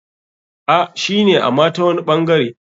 A,shine ama tawani ɓangare.